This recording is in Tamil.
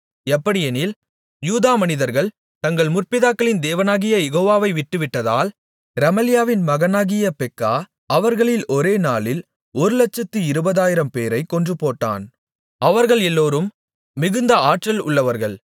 எப்படியெனில் யூதா மனிதர்கள் தங்கள் முற்பிதாக்களின் தேவனாகிய யெகோவாவை விட்டுவிட்டதால் ரெமலியாவின் மகனாகிய பெக்கா அவர்களில் ஒரே நாளில் ஒருலட்சத்து இருபதாயிரம்பேரைக் கொன்றுபோட்டான் அவர்கள் எல்லோரும் மிகுந்த ஆற்றல் உள்ளவர்கள்